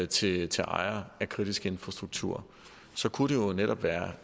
til til ejere af kritisk infrastruktur kunne det jo netop være